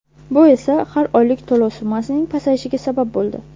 Bu esa har oylik to‘lov summasining pasayishiga sabab bo‘ldi.